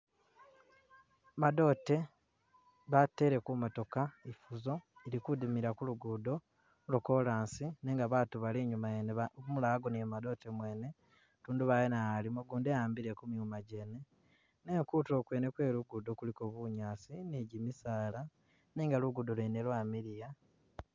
Madote batele ku motooka ifuzo ili kudimila ku lugudo lwo chorus nenga batu bali inyuma yene ba umulala agonele mu madote gene, tundubali naye alimo, ugundi eyambile ku myuma gyene nenga kutulo kwene kwe lugudo kuliko bunyaasi ni gyimisaala nenga lugudo lwene lwamiliya